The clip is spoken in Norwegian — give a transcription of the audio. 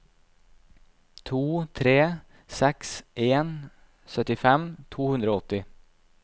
to tre seks en syttifem to hundre og åtti